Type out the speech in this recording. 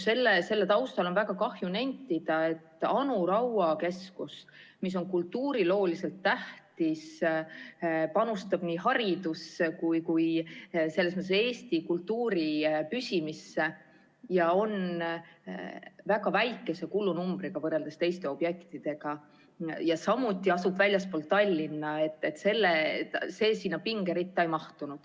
Selle taustal on väga kahju nentida, et sinna pingeritta ei mahtunud Anu Raua keskus, mis on kultuurilooliselt tähtis, panustab haridusse ja selles mõttes Eesti kultuuri püsimisse ning on väga väikese kulunumbriga, võrreldes teiste objektidega, samuti asub ta väljaspool Tallinna.